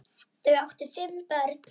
Þau áttu þá fimm börn.